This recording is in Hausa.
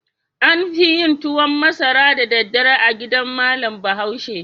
An fi yin tuwan masara da daddare a gidan malam Bahaushe.